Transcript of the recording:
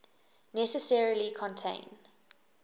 necessarily contain